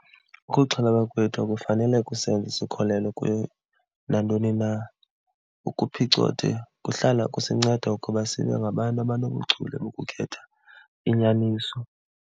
Ukuxhalaba kwethu akufanele kusenze sikholelwe kuyo nantoni na. Ukuphicothe kuhlala kusinceda ukuba sibe ngabantu abanobuchule bokukhetha inyaniso.